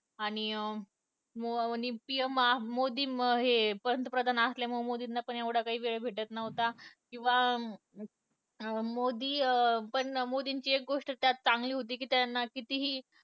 आणि य मो PM मोदी हे अं पंतप्रधान असल्यामुळे मोदीना पण एवढा काही वेळ भेटत नव्हता किंवा अं मोदी अं पण मोदीची एक गोष्ट त्यात चांगली होती त्यांना कितीही